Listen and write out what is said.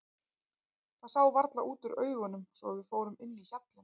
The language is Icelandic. Það sá varla út úr augunum svo að við fórum inn í hjallinn.